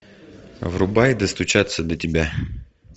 врубай достучаться до тебя